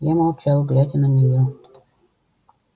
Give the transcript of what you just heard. я молчал глядя на неё